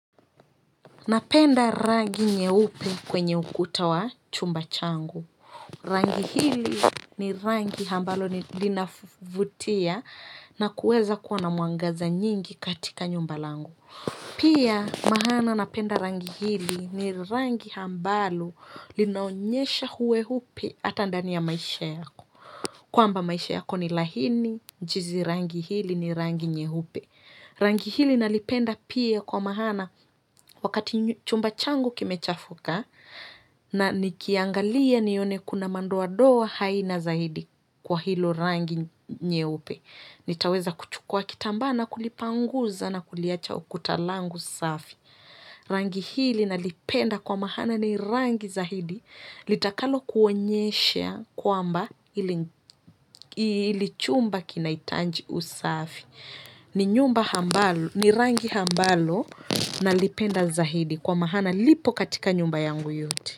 Napenda rangi nyeupe kwenye ukuta wa chumba changu. Rangi hili ni rangi ambalo linavutia na kuweza kuwa na mwangaza nyingi katika nyumba langu. Pia maana napenda rangi hili ni rangi ambalo linaonyesha uweupe hata ndani ya maisha yako. Kwamba maisha yako ni laini, jinsi rangi hili ni rangi nyeupe. Rangi hili nalipenda pia kwa maana wakati chumba changu kimechafuka na nikiangalia nione kuna madoadoa aina zaidi kwa hilo rangi nyeupe. Nitaweza kuchukua kitamba na kulipanguza na kuliacha ukuta langu safi. Rangi hili nalipenda kwa maana ni rangi zaidi litakalo kuonyeshe kwamba hili chumba kinahitaji usafi. Ni nyumba ambalo ni rangi ambalo nalipenda zaidi kwa maana lipo katika nyumba yangu yote.